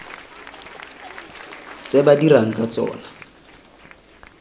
tse ba dirang ka tsona